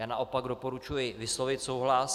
Já naopak doporučuji vyslovit souhlas.